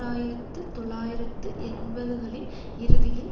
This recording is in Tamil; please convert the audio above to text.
ஆயிரத்து தொள்ளாயிரத்து எண்பதுகளின் இறுதியில்